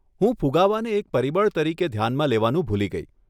હું ફુગાવાને એક પરિબળ તરીકે ધ્યાનમાં લેવાનું ભૂલી ગઇ.